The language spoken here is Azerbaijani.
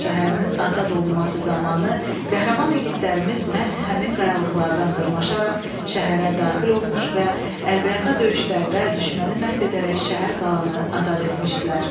Şuşa şəhərinin azad olunması zamanı qəhrəman igidlərimiz məhz həmin qayalıqlardan dırmaşaraq şəhərə daxil olmuş və əlbəyaxa döyüşlərdə düşməni məhv edərək şəhər qalanı azad etmişdilər.